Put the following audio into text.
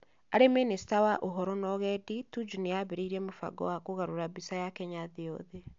Arĩ Minista wa Ũhoro na Ũgendi, Tuju nĩ aambĩrĩirie mũbango wa kũgarũra mbica ya Kenya thĩ yothe.